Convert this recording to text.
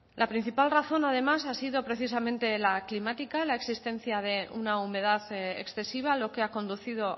la principal razón además ha sido precisamente la climática la existencia de una humedad excesiva lo que ha conducido